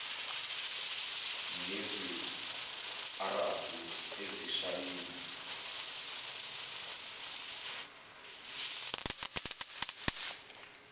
ngesi arabhu isishayina